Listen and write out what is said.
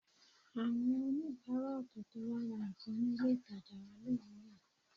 Àwọn oníbàárà ọ̀tọ̀ọ̀tọ̀ wá ra nǹkan ní ilé ìtajà wa lówùúrọ̀